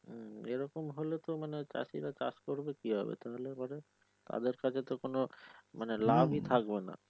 এইরকম হলে মানে তো চাষিরা চাষ করবে কিভাবে তাহলে পরে তাদের কাজে তো কোন লাভই থাকবেনা ।